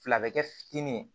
Fila bɛ kɛ fitinin ye